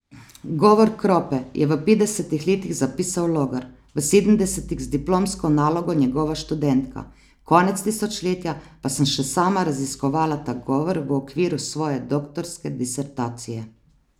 Govor Krope je v petdesetih letih zapisal Logar, v sedemdesetih z diplomsko nalogo njegova študentka, konec tisočletja pa sem še sama raziskovala ta govor v okviru svoje doktorske disertacije.